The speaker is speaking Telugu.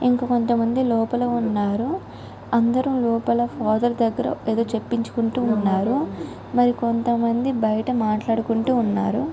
ఇంకా కొంత మంది లోపల ఉన్నారు. అందరూ లోపల ఫాదర్ దగ్గర ఎదో చేపించుకుంటూ ఉన్నారు. మరి కొంత మంది బయట మాట్లాడుకుంటూ ఉన్నారు.